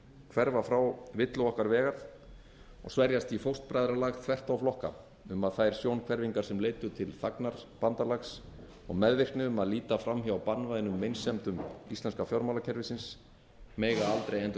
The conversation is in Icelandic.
hverfa frá villu okkar vegar og sverjast í fóstbræðralag þvert á flokka um að þær sjónhverfingar sem leiddu til þagnarbandalags og meðvirkni um að líta fram hjá banvænum meinsemdum íslenska fjármálakerfisins mega aldrei endurtaka sig